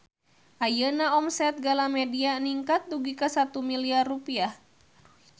Ayeuna omset Galamedia ningkat dugi ka 1 miliar rupiah